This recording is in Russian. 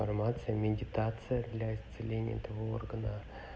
фармация медитация для исцеления этого органа